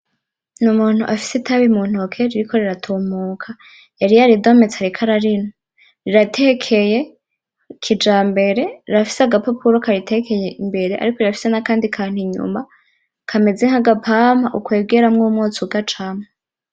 N'umuntu afise itabi muntuke ririko riratumuka yari yaridometse ariko ararinwa, rirateke kijambere rirafise agapapuro karitekeye imbere ariko rirafise nakandi kantu inyuma kameze nk'agapampa ukwigeramwo umwotsi ugacamwo.